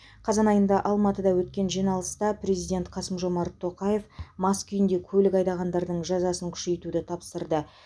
қазан айында алматыда өткен жиналыста президент қасым жомарт тоқаев мас күйінде көлік айдағандардың жазасын күшейтуді тапсырды